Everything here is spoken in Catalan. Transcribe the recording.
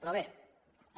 però bé